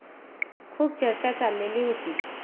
खूप चर्चा चाललेली होती.